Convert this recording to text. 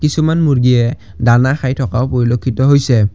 কিছুমান মূৰ্গীয়ে দানা খাই থকাও পৰিলক্ষিত হৈছে।